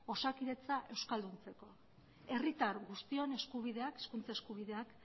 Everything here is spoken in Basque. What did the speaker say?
osakidetza euskalduntzeko herritar guztion eskubideak hizkuntza eskubideak